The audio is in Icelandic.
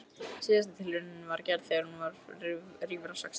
Síðasta tilraunin var gerð þegar hún var rífra sextán ára.